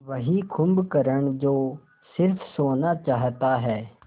वही कुंभकर्ण जो स़िर्फ सोना चाहता है